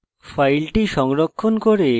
file সংরক্ষণ করে